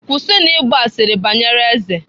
Kwụsịnụ ịgba asịrị banyere eze!